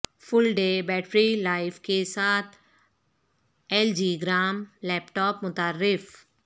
فل day battery life کے ساتھ L G gram laptop متعارف